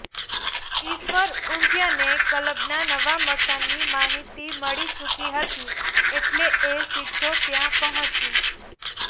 ઈશ્વર ઊંટિયાને કલબના નવા મકાનની માહિતી મળી ચૂકી હતી એટલે એ સીધો ત્યાં પહોંચ્યો